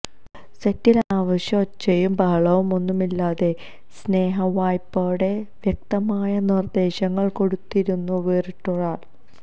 സെറ്റിലെ അനാവശ്യ ഒച്ചയും ബഹവുമൊന്നുമില്ലാതെ സ്നേഹവായ്പ്പോടെ വ്യക്തമായ നിര്ദേശങ്ങള് കൊടുത്തിരുന്ന വേറിട്ടൊരാള്